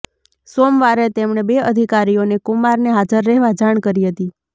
સોમવારે તેમણે બે અધિકારીઓને કુમારને હાજર રહેવા જાણ કરી હતી